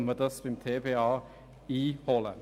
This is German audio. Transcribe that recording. Kann man diese beim Tiefbauamt (TBA) beziehen?